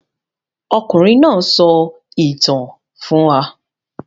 Ọkùnrin náà sọ ìtàn fún wa.